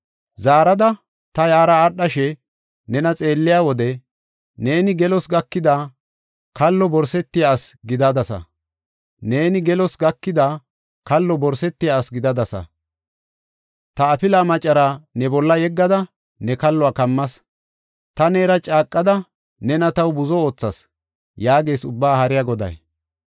“Zaarada ta yaara aadhashe nena xeelliya wode, neeni gelos gakada, kallo borsetiya ase gidadasa. Ta afila maccara ne bolla yeggada, ne kalluwa kammas; ta neera caaqada nena taw buzo oothas” yaagees Ubbaa Haariya Goday.